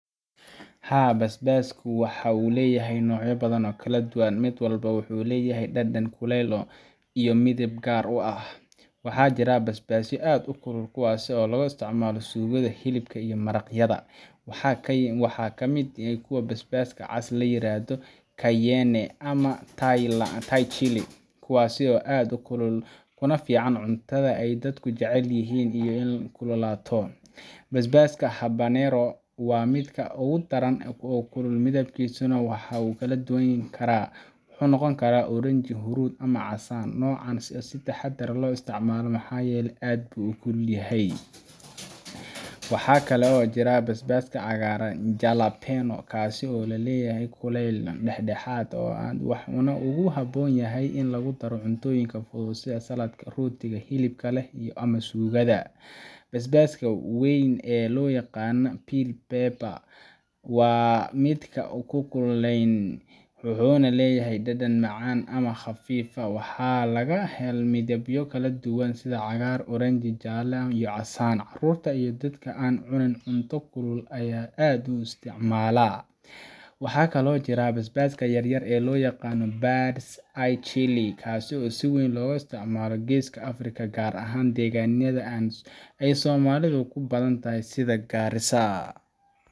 Haa, basbaaska waxa uu leeyahay noocyo badan oo kala duwan, mid walbana wuxuu leeyahay dhadhan, kulayl, iyo midab u gaar ah. Waxaa jira basbaasyo aad u kulul, kuwaas oo aad loo isticmaalo suugada, hilibka, iyo maraqyada. Waxaa ka mid ah kuwaas basbaaska cas ee la yiraahdo Cayenne ama Thai chili, kuwaas oo aad u kulul, kuna fiican cuntada ay dadku jecel yihiin in ay kululaato. Basbaaska Habanero waa mid aad u daran oo kulul, midabkiisuna wuu kala duwanaan karaa—wuxuu noqon karaa oranjo, huruud ama casaan. Noocan waa in si taxaddar leh loo isticmaalaa maxaa yeelay aad buu u kulul yahay. Waxaa kale oo jira basbaaska cagaaran ee jalapeño kaas oo leeyahay kulayl dhexdhexaad ah, wuxuuna aad ugu habboon yahay in lagu daro cuntooyinka fudud sida saladhka, rootiga hilibka leh, ama suugada. Basbaaska weyn ee loo yaqaan bell pepper waa mid aan kululayn, wuxuuna leeyahay dhadhan macaan ama khafiif ah. Waxaa laga helaa midabyo kala duwan sida cagaar, oranjo, jaalle, iyo casaan. Carruurta iyo dadka aan cunin cunto kulul ayaa aad u isticmaala. Waxaa kaloo jira basbaaska yar-yar ee loo yaqaan bird’s eye chili kaas oo si weyn looga isticmaalo Geeska Afrika, gaar ahaan deegaanada ay Soomaalidu ku badan tahay sida Garissa.